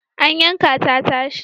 An yanka ta tashi.